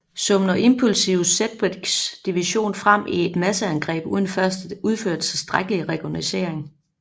Sumner impulsivt Sedgwicks division frem i et masseangreb uden først at udføre tilstrækkelig recognoscering